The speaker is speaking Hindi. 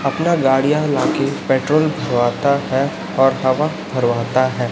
अपना गाड़ियाँ लाके पेट्रोल भरवाता है और हवा भरवाता है।